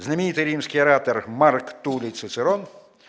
знаменитый римский оратор марк туллий цицерон